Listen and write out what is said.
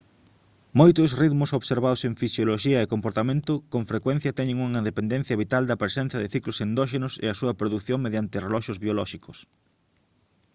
moitos ritmos observados en fisioloxía e comportamento con frecuencia teñen unha dependencia vital da presenza de ciclos endóxenos e a súa produción mediante reloxos biolóxicos